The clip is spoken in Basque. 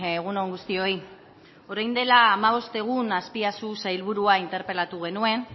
egun on guztioi orain dela hamabost egun azpiazu sailburua interpelatu genuen